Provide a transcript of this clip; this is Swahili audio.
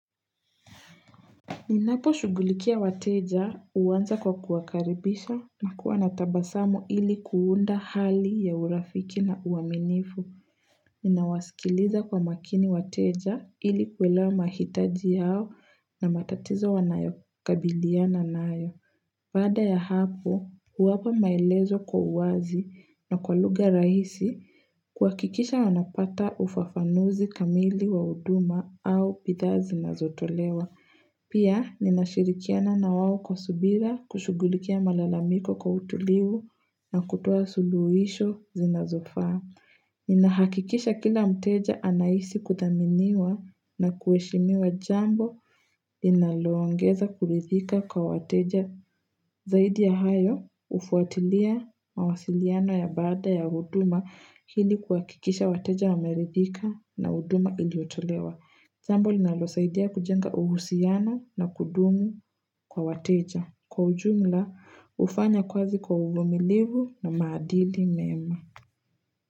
Ninapo shugulikia wateja uanza kwa kuwakaribisha na kuwa natabasamu ili kuunda hali ya urafiki na uaminifu. Ninawasikiliza kwa makini wateja ili kuelewa mahitaji yao na matatizo wanayokabiliana nayo. Baada ya hapo, huwapa maelezo kwa uwazi na kwa lugha rahisi kuhakikisha wanapata ufafanuzi kamili wa huduma au bidhaa zinazotolewa. Pia ninashirikiana na wao kwa subira kushugulikia malalamiko kwa utulivu na kutoa suluhisho zinazofaa Ninahakikisha kila mteja anaisi kutaminiwa na kuheshimiwa jambo linaloongeza kuridhika kwa wateja zaidi ya hayo hufuatilia mawasiliano ya baada ya huduma ili kuhakikisha wateja wameridhika na huduma iliotolewa. Jambo linalosaidia kujenga uhusiano na kudumu kwa wateja. Kwa ujumla, ufanye kazi kwa uvumilivu na maadili mema.